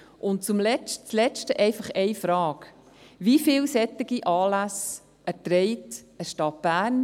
Und das Letzte – einfach eine Frage: Wie viele solcher Anlässe erträgt die Stadt Bern?